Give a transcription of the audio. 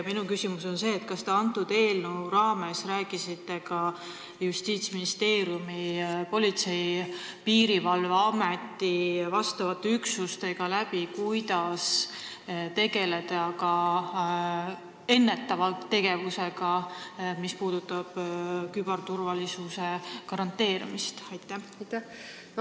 Minu küsimus on selline: kas te selle eelnõu raames pidasite ka Justiitsministeeriumi, Politsei- ja Piirivalveameti vastavate üksustega läbirääkimisi, kuidas tegelda ennetustöö ja küberturvalisuse garanteerimisega?